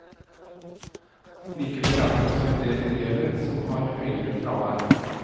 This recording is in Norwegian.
Likevel er det også en del elever som har høyere fravær.